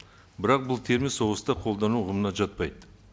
бірақ бұл термин соғыста қолдану ұғымына жатпайды